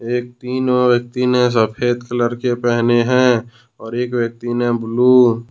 ये तीनों व्यक्ति ने सफेद कलर के पहने हैं और एक व्यक्ति ने ब्लू ।